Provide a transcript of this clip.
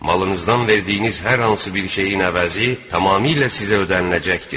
Malınızdan verdiyiniz hər hansı bir şeyin əvəzi tamamilə sizə ödəniləcəkdir.